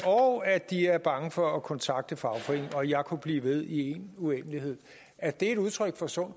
og at de er bange for at kontakte fagforeningen og jeg kunne blive ved i en uendelighed er det et udtryk for sund